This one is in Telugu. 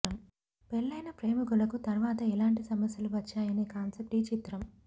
పెళ్లైన ప్రేమికులకు తర్వాత ఎలాంటి సమస్యలు వచ్చాయనే కాన్సెప్ట్ పై ఈ చిత్రం